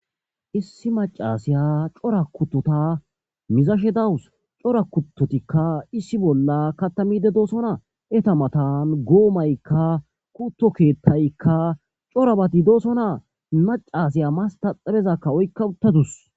issi macasiya cora kuttota mizashe dawus cora kuttotikka issi bolla katamide doosonaa eta matan goomaykka kutto keettaykka corabati doosona macasiya mastaxabezakka oykka uttadus